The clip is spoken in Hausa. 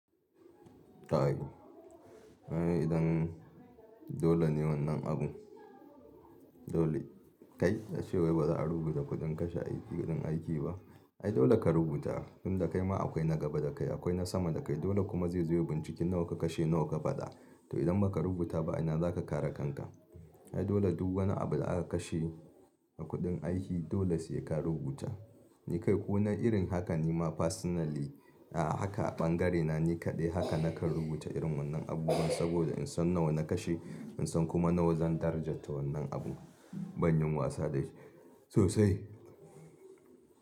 Ta haihu. Idan dole ne wannan abun dole kai, ka ce wai ba za a rubuta kuɗin kashe kuɗin aiki ba. Ai dole ka rubuta, tun da kai ma akwai na gaba da kai, akwai na sama da kai. Dole kuma zai zu ye binciki nawa ka kashe nawa ka faɗa. To idan ba ka rubuta ba ina za ka kare kanka? Ai dole duk wani abu da aka kashe a kudin aiki dole sai ka rubuta. Ni kai kuma na irin haka ni ma personally, a'a haka a bangare na ni kaɗai haka na ka rubuta irin wannan abubuwa saboda in san nawa na kashe, in san kuma nawa zan darajata wannan abu. Ban yin wasa da shi sosai.